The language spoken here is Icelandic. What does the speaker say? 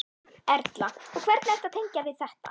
Erla: Og hvernig ertu að tengja við þetta?